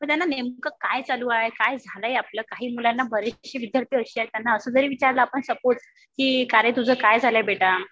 मग त्यांना नेमकं काय चालू आहे. काय झालंय आपलं. काही मुलांना बरेचशे विद्यार्थी अशे आहेत त्यांना असं जरी विचारलं आपण सपोझ का रे तुझं काय झालंय बेटा.